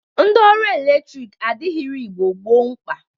Ndị ọrụ eletrik adịrighi Igbo gboo mkpa.